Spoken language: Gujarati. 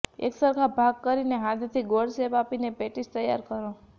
એકસરખા ભાગ કરી ને હાથેથી ગોળ શેપ આપી ને પેટીસ તૈયાર કરો